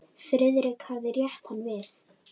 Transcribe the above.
Friðrik hafði rétt hann við.